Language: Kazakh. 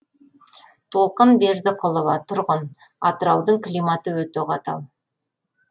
толқын бердіқұлова тұрғын атыраудың климаты өте қатал